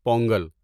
Pongal